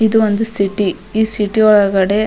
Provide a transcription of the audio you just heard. ಇದು ಒಂದು ಸಿಟಿ ಈ ಸಿಟಿ ಒಳಗಡೆ --